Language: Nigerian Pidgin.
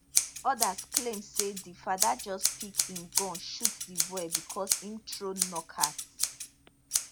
odas claim say di fada just pick im gun shoot di boy becos im throw knock out